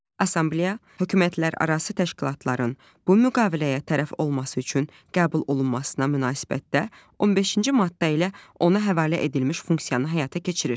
Assambleya hökumətlərarası təşkilatların bu müqaviləyə tərəf olması üçün qəbul olunmasına münasibətdə 15-ci maddə ilə ona həvalə edilmiş funksiyanı həyata keçirir.